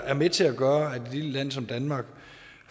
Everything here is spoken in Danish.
er med til at gøre at et lille land som danmark